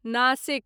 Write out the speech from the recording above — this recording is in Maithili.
नाशिक